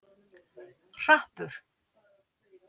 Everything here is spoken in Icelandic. Hrappur